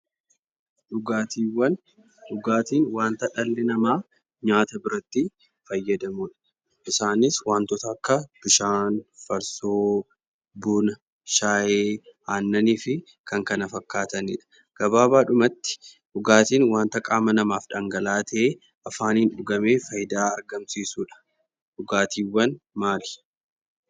Dhugaatiiwwan. Dhugaatiin wanta dhalli namaa nyaata biratti fayyadamudha. Isaanis wantoota akka bishaan, farsoo, buna, shaayi, aannaniifi kan kana fakkaatanidha. Gabaabaadhumatti dhugaatiin wanta qaama namaaf dhangala'aa ta'ee afaaniin dhugamee faayidaa argamsiisuudha. Dhugaatiiwwan maali?